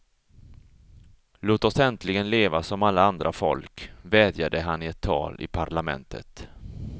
Låt oss äntligen leva som alla andra folk, vädjade han i ett tal i parlamentet.